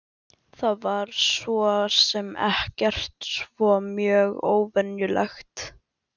Það var svo sem ekkert svo mjög óvenjulegt.